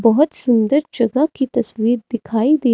बहोत सुंदर जगह की तस्वीर दिखाई दे--